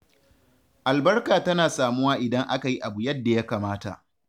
Albarka tana samuwa idan aka yi abu yadda ya kamata.